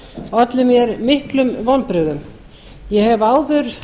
olli mér miklum vonbrigðum ég hef áður